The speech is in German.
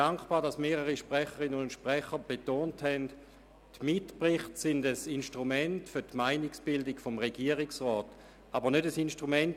Ich bin dankbar dafür, dass mehrere Sprechrinnen und Sprecher darauf hingewiesen haben, dass die Mitberichte ein Instrument für die Meinungsbildung des Regierungsrats und nicht des Grossen Rats sind.